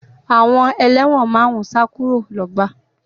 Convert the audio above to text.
Àwọn ẹlẹ́wọ̀n márùn-ún sá kúrò lọ́gbà